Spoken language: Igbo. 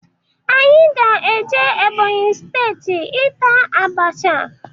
Anyị ga eje Ebonyi steeti ịta abasha.